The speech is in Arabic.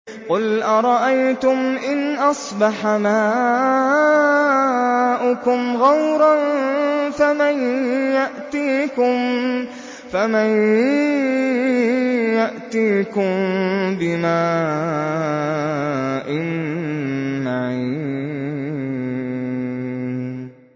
قُلْ أَرَأَيْتُمْ إِنْ أَصْبَحَ مَاؤُكُمْ غَوْرًا فَمَن يَأْتِيكُم بِمَاءٍ مَّعِينٍ